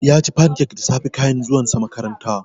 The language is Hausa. Yaci fancak da safe kayin zuwan sa makaranta